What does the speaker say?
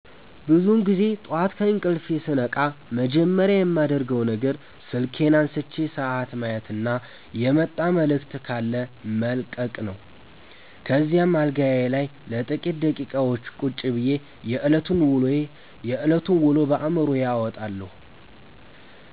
ብዙውን ጊዜ ጠዋት ከእንቅልፌ ስነቃ መጀመሪያ የማደርገው ነገር ስልኬን አንስቼ ሰዓት ማየትና የመጣ መልዕክት ካለ መለቅለቅ ነው። ከዚያም አልጋዬ ላይ ለጥቂት ደቂቃዎች ቁጭ ብዬ የዕለቱን ውሎ በአዕምሮዬ አወጣጣለሁ።